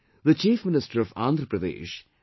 The Chief Minister of Andhra Pradesh, Mr